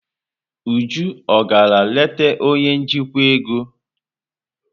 Uju ọ gara leta onye njikwa ego?